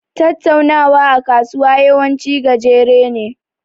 Tattaunawa a kasuwa yawanci gajere ne.